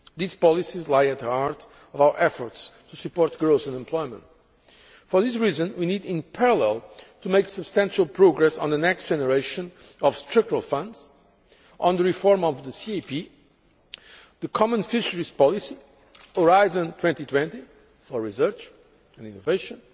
These policies lie at the heart of our efforts to support growth and employment. For this reason we need in parallel to make substantial progress on the next generation of Structural Funds, the reform of the CAP, the common fisheries policy, Horizon 2020 for results and innovation,